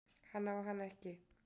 Hann á hana ekki.